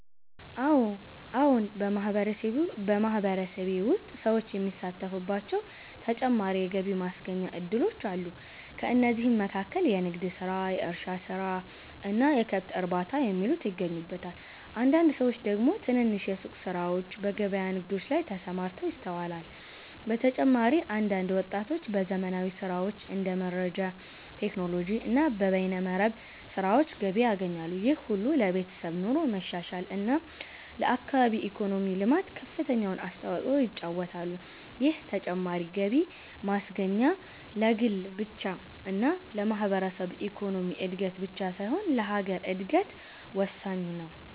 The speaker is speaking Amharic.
አዎን !በማህበረሰቤ ውስጥ ሰዎች የሚሳተፉባቸው ተጨማሪ የገቢ ማስገኛ እድሎች አሉ። ከእነዚህም መካከል የንግድ ስራ፣ የእርሻ ስራ እና የከብት እርባታ የሚሉት ይገኙበታል። አንዳንድ ሰዎች ደግሞ ትንንሽ የሱቅ ስራዎችና በገበያ ንግዶች ላይ ተሰማርተው ይስተዋላል። በተጨማሪም አንዳንድ ወጣቶች በዘመናዊ ስራዎች እንደ መረጃ ቴክኖሎጂ እና በበይነ መረብ ስራዎች ገቢ ያገኛሉ። ይህ ሁሉ ለቤተሰብ ኑሮ መሻሻል እና ለአካባቢ ኢኮኖሚ ልማት ከፍተኛውን አስተዋጽኦ ይጫወታሉ። ይህ ተጨማሪ ገቢ ማስገኛ ለግል ብቻ እና ለማህበረሰብ ኢኮኖሚ እድገት ብቻ ሳይሆን ለሀገር እድገት ወሳኝ ነው።